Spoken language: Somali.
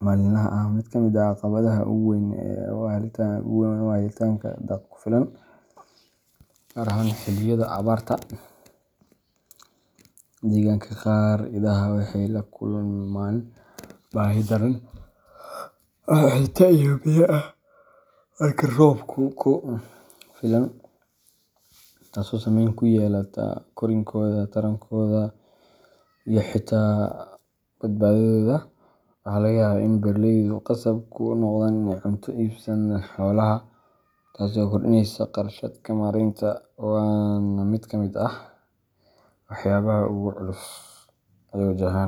maalinlaha ah. Mid ka mid ah caqabadaha ugu weyn waa helitaanka daaq ku filan, gaar ahaan xilliyada abaarta. Degaanka qaar, idaha waxay la kulmaan baahi daran oo cunto iyo biyo ah marka roobku yaraado ama uu gebi ahaanba baaqdo. Daaqii oo yaraada waxay keentaa in iduhu helin nafaqo ku filan, taasoo saameyn ku yeelata korriinkooda, tarankooda, iyo xitaa badbaadadooda. Waxaa laga yaabaa in beeraleydu khasab ku noqdaan inay cunto u iibsadaan xoolaha, taas oo kordhinaysa kharashaadka maareynta – waana mid ka mid ah waxyaabaha ugu culus ee ay wajahaan.